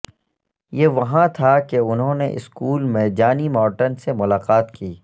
یہ وہاں تھا کہ انہوں نے اسکول میں جانی مارٹن سے ملاقات کی